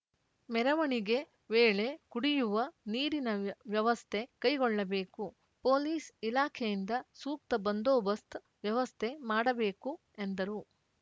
ಮೆರವಣಿಗೆ ವೇಳೆ ಕುಡಿಯುವ ನೀರಿನ ವ್ಯವಸ್ಥೆ ಕೈಗೊಳ್ಳಬೇಕು ಪೊಲೀಸ್‌ ಇಲಾಖೆಯಿಂದ ಸೂಕ್ತ ಬಂದೋಬಸ್ತ್ ವ್ಯವಸ್ಥೆ ಮಾಡಬೇಕು ಎಂದರು